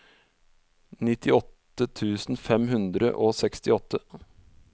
nittiåtte tusen fem hundre og sekstiåtte